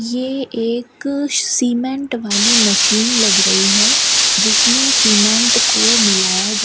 ये एक सीमेंट वाली मशीन लग रही है जिसमें सीमेंट को मिलाया जा --